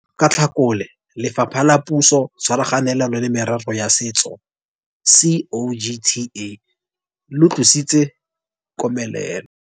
Ka Tlhakole, Lefapha la Puso tshwaraganelo le Merero ya Setso, COGTA, le tlositse komelelo